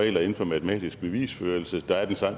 regler inden for matematisk bevisførelse der er